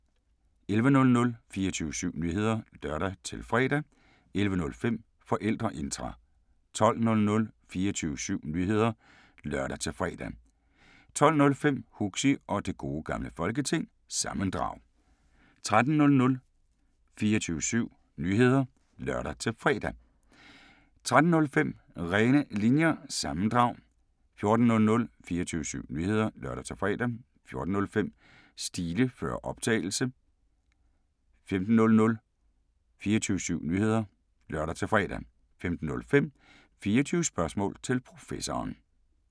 11:00: 24syv Nyheder (lør-fre) 11:05: Forældreintra 12:00: 24syv Nyheder (lør-fre) 12:05: Huxi og Det Gode Gamle Folketing – sammendrag 13:00: 24syv Nyheder (lør-fre) 13:05: René Linjer- sammendrag 14:00: 24syv Nyheder (lør-fre) 14:05: Stile før optagelse 15:00: 24syv Nyheder (lør-fre) 15:05: 24 Spørgsmål til Professoren